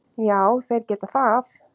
Já þeir geta það.